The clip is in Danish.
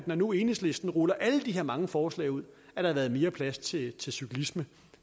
når nu enhedslisten ruller alle de her mange forslag ud havde været mere plads til til cyklisme